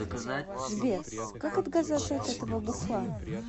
сбер как отказаться от этого бухла